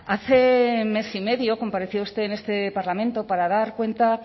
hace mes y medio compareció usted en este parlamento para dar cuenta